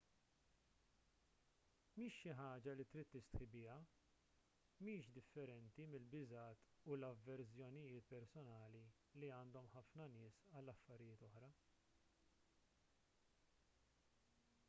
mhix xi ħaġa li trid tistħi biha mhix differenti mill-biżgħat u l-avverżjonijiet personali li għandhom ħafna nies għal affarijiet oħra